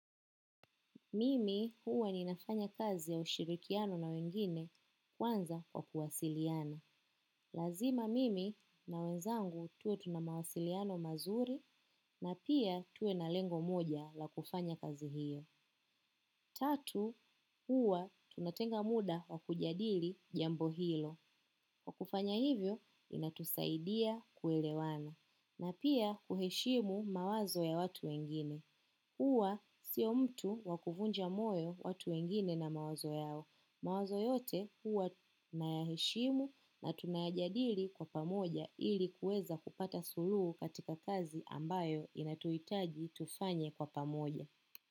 Mimi huwa ninafanya kazi ya ushirikiano na wengine kwanza kwa kuwasiliana. Lazima mimi na wenzangu tuwe tuna mawasiliano mazuri na pia tuwe na lengo moja la kufanya kazi hiyo. Tatu huwa tunatenga muda wa kujadili jambo hilo. Kwa kufanya hivyo inatusaidia kuelewana na pia kuheshimu mawazo ya watu wengine. Huwa sio mtu wa kuvunja moyo watu wengine na mawazo yao. Mawazo yote huwa nayaheshimu na tunayajadili kwa pamoja ili kuweza kupata suluhu katika kazi ambayo inatuhitaji tufanye kwa pamoja.